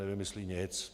Nevymyslí nic.